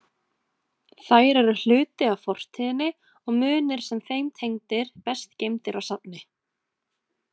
Þær eru hluti af fortíðinni og munir þeim tengdir best geymdir á safni.